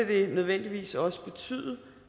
det nødvendigvis også betyde